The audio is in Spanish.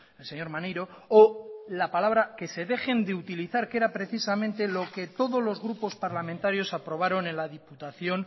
el señor maneiro o la palabra que se dejen de utilizar que era precisamente lo que todos los grupos parlamentarios aprobaron en el diputación